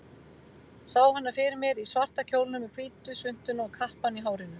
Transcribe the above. Sá hana fyrir mér í svarta kjólnum, með hvítu svuntuna og kappann í hárinu.